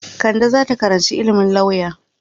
Kande za ta karanci ilimin lauya.